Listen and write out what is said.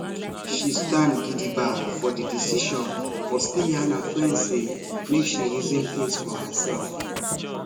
she stand gidigba for the decision but still yarn her friend say make she reason things for herself